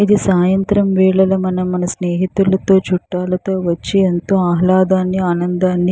ఇది సాయంత్రం వేళలో మనం మన స్నేహితులతో చుట్టలతో వచ్చి ఎంతో ఆహ్లాదాన్ని ఆనందాన్ని--